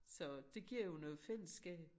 Så det giver jo noget fællesskab